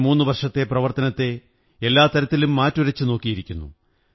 ഈ മൂന്നു വര്ഷംത്തെ പ്രവര്ത്തോനത്തെ എല്ലാ തരത്തിലും മാറ്റുരച്ചു നോക്കിയിരിക്കുന്നു